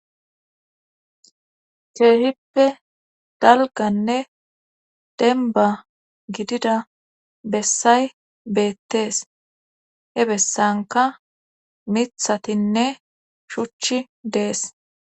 Keehippe dalganne denba gidida bessay beettees he bessanka mithatinne shuchi dees